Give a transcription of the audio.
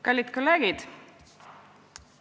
Kallid kolleegid!